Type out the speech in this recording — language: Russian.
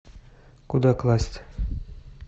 куда класть